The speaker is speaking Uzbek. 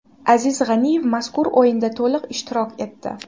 Aziz G‘aniyev mazkur o‘yinda to‘liq ishtirok etdi.